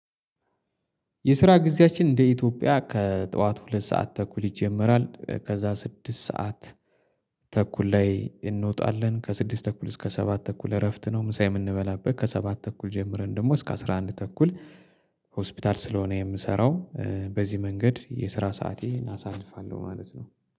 የስራ ጊዜያችን እንደ ኢትዮጵያ ከጠዋት ሁለት ሰዓት ተኩል ይጀመራል፣ ከዛ ስድስት ሰዓት ተኩል ላይ እንወጣለን፣ ከስድስት ተኩል እስከ ሰባት ተኩል እረፍት ነው ምሳ የምንበላበት፣ ከሰባት ተኩል ጀምረን ደግሞ እስከ አስራ አንድ ተኩል ሆስፒታል ስለሆነ የምሰራው በዚህ መንገድ የስራ ሰአቴን አሳልፋለሁ ማለት ነው።